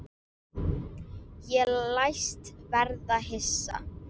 Ég læst verða hissa.